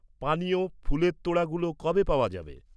পানীয়, ফুলের তোড়াগুলো কবে পাওয়া যাবে?